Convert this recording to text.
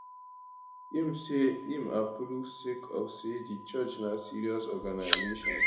im say im approve am sake of say di church na serious organisation